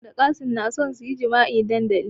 Fatima da Qassim na so suyi jima'i a dandali